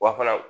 Wa fana